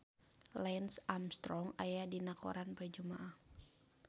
Lance Armstrong aya dina koran poe Jumaah